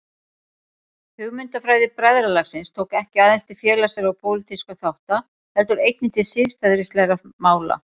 Hugmyndafræði bræðralagsins tók ekki aðeins til félagslegra og pólitískra þátta heldur einnig til siðferðislegra mála.